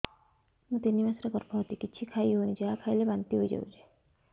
ମୁଁ ତିନି ମାସର ଗର୍ଭବତୀ କିଛି ଖାଇ ହେଉନି ଯାହା ଖାଇଲେ ବାନ୍ତି ହୋଇଯାଉଛି